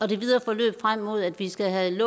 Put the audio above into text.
det videre forløb frem mod at vi skal have et